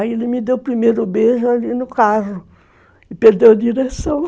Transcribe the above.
Aí ele me deu o primeiro beijo ali no carro e perdeu a direção